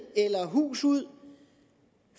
eller hus ud